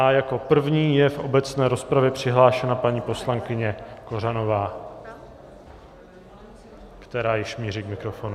A jako první je v obecné rozpravě přihlášena paní poslankyně Kořanová, která již míří k mikrofonu.